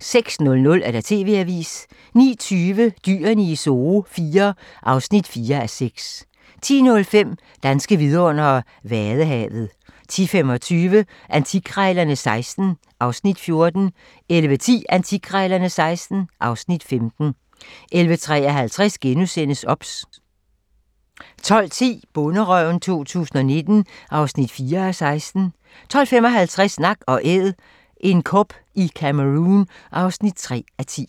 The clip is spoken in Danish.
06:00: TV-avisen 09:20: Dyrene i Zoo IV (4:6) 10:05: Danske vidundere: Vadehavet 10:25: Antikkrejlerne XVI (Afs. 14) 11:10: Antikkrejlerne XVI (Afs. 15) 11:53: OBS * 12:10: Bonderøven 2019 (4:16) 12:55: Nak & Æd - en kob i Cameroun (3:10)